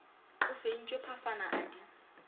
o fentšwe phafana a di